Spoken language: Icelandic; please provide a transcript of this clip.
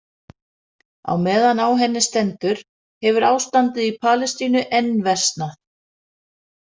Á meðan á henni stendur hefur ástandið í Palestínu enn versnað.